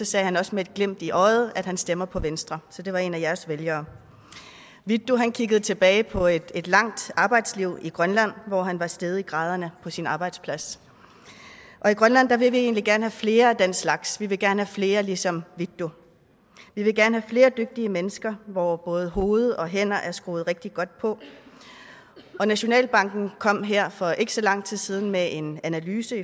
sagde han også med et glimt i øjet at han stemmer på venstre så det var en af jeres vælgere vittus kan kigge tilbage på et et langt arbejdsliv i grønland hvor han var steget i graderne på sin arbejdsplads i grønland vil vi egentlig gerne have flere af den slags vi vil gerne have flere ligesom vittus vi vil gerne flere dygtige mennesker hvor både hoved og hænder er skruet rigtigt på nationalbanken kom her for ikke så lang tid siden med en analyse